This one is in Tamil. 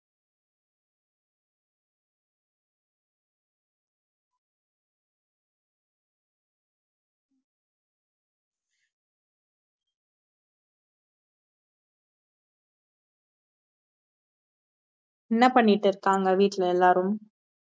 என்ன பண்ணிட்டு இருக்காங்க வீட்டுல எல்லாரும்